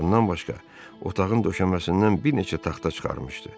Bundan başqa, otağın döşəməsindən bir neçə taxta çıxarmışdı.